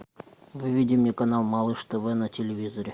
выведи мне канал малыш тв на телевизоре